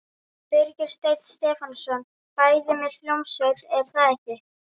Birgir Steinn Stefánsson: Bæði með hljómsveit er það ekki?